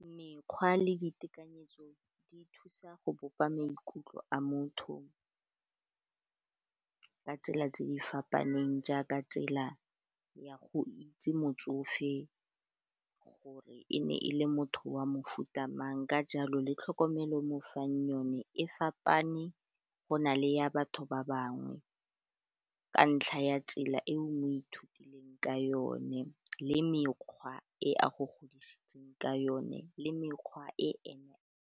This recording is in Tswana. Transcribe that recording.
Mekgwa le ditekanyetso di thusa go bopa maikutlo a motho ka tsela tse di fapaneng jaaka tsela ya go itse motsofe gore e ne e le motho wa mofuta mang ka jalo le tlhokomelo e mo fang yone e fapana go na le ya batho ba bangwe ka ntlha ya tsela e o ithutileng ka yone le mekgwa e a go godisitseng ka yone le mekgwa e .